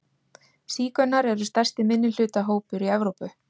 Sígaunar eru stærsti minnihlutahópur í Evrópu.